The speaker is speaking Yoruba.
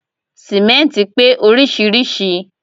Sìmẹ́ntì pé oríṣiríṣìí